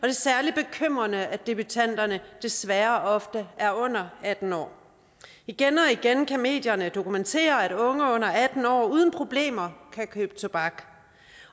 er særlig bekymrende at debutanterne desværre ofte er under atten år igen og igen kan medierne dokumentere at unge under atten år uden problemer kan købe tobak